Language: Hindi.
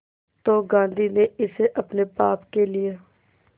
तो गांधी ने इसे अपने पाप के लिए